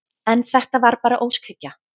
En þetta var bara óskhyggja.